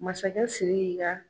Masakɛ siriki ka